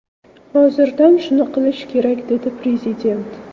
Hozirdan shuni qilish kerak”, dedi Prezident.